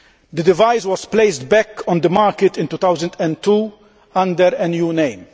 The device was placed back on the market in 2002 under a new name.